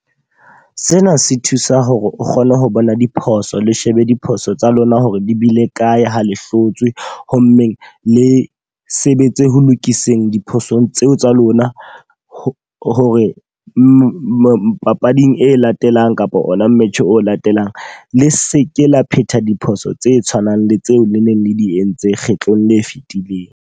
Sena se thusa hore o kgone ho bona diphoso le shebe diphoso tsa lona hore di bile kae ha le hlotswe. Ho mmeng le sebetse ho lokiseng diphosong tseo tsa lona, ho hore papading e latelang kapa ona match-eng o latelang le seke la phetha diphoso tse tshwanang le tseo le neng le di entse kgetlong le fitileng.